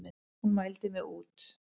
Hún mældi mig út.